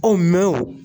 mɛ o